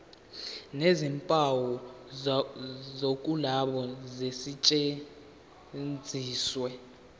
nezimpawu zokuloba zisetshenziswe